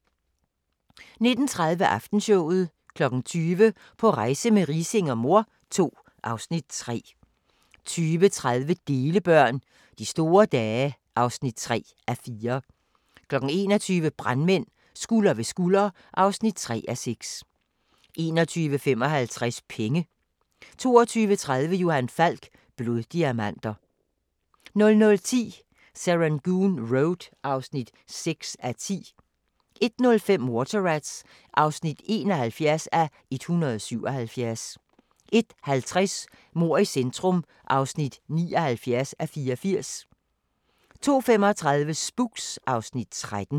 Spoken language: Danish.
19:30: Aftenshowet 20:00: På rejse med Riising og mor II (Afs. 3) 20:30: Delebørn – De store dage (3:4) 21:00: Brandmænd – Skulder ved skulder (3:6) 21:55: Penge 22:30: Johan Falk: Bloddiamanter 00:10: Serangoon Road (6:10) 01:05: Water Rats (71:177) 01:50: Mord i centrum (79:84) 02:35: Spooks (Afs. 13)